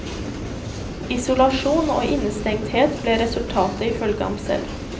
Isolasjon og innestengthet ble resultatet, ifølge ham selv.